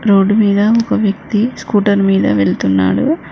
Road మీద ఒక వ్యక్తి స్కూటర్ మీద వెళ్తున్నాడు హా.